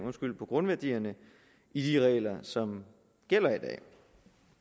af grundværdierne i de regler som gælder i dag